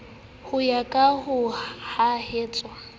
ho ya ka ho hahuwa